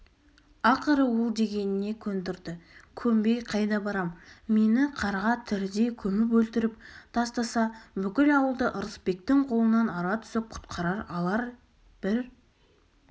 ақыры ол дегеніне көндірді көнбей қайда барам мені қарға тірідей көміп өлтіріп тастаса бүкіл ауылда ырысбектің қолынан ара түсіп құтқарып алар бір